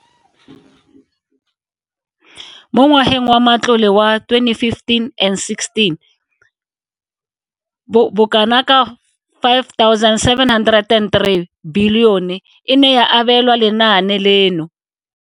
Mo ngwageng wa matlole wa 2015-16, bokanaka R5 703 bilione e ne ya abelwa lenaane leno.